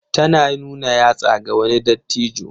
Tana nuna yatsa ga wani dattijo.